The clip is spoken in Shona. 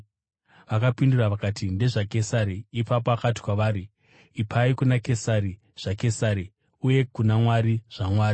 Vakapindura vakati, “NdezvaKesari.” Ipapo akati kwavari, “Ipai kuna Kesari zvaKesari, uye kuna Mwari zvaMwari.”